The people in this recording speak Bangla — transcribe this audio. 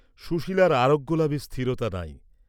সুশীলার আরােগ্য লাভের স্থিরতা নাই।